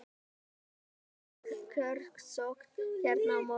Sæmileg kjörsókn hérna í morgun?